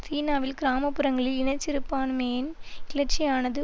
சீனாவில் கிராம புறங்களில் இன சிறுபான்மையின் கிளர்ச்சியானது